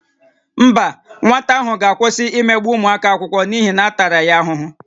Mba, nwata ahụ ga-akwụsị imegbu ụmụ akwụkwọ n'ihi na a tara ya ahụhụ